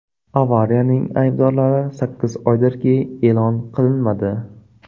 Avariyaning aybdorlari sakkiz oydirki, e’lon qilinmadi.